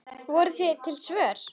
Voru til einhver svör?